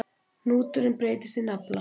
Hnúturinn breytist í nafla.